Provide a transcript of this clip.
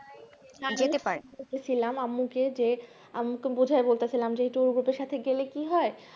আম্মু কে যে আম্মু কে বুঝাই বলতে ছিলাম যে group এর সাথে গেলে কি হয়